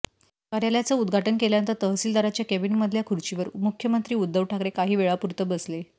कार्यालयाचं उद्घाटन केल्यानंतर तहसीलदारांच्या केबीमधल्या खुर्चीवर मुख्यमंत्री उद्धव ठाकरे काही वेळापुरतं बसले